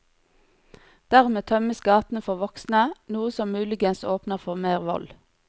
Dermed tømmes gatene for voksne, noe som muligens åpner for mer vold.